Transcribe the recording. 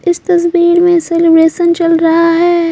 इस तस्वीर में सेलिब्रेशन चल रहा है।